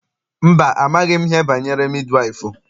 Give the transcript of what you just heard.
Mba, amaghị m ihe banyere midi waịfụ.